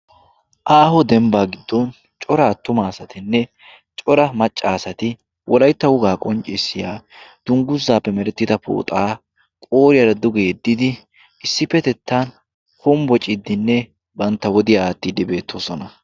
aaho dembbaa giddon cora attuma asatinne cora maccaasati wolaitta wogaa qonccissiya dungguzzaappe merettida pooxaa qooriyaara dugeeddidi issippetettan hombbociddinne bantta wodiyaa aattiiddi beettoosona